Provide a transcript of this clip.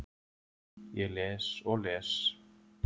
Ég les og les.